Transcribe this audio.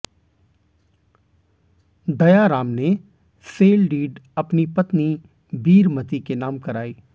दयाराम ने sale deed अपनी पत्नी बीरमति के नाम कराई